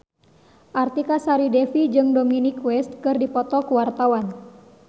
Artika Sari Devi jeung Dominic West keur dipoto ku wartawan